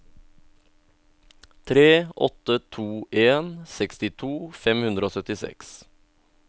tre åtte to en sekstito fem hundre og syttiseks